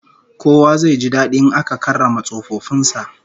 Kowa zai ji dadi in aka karrama tsofaffin sa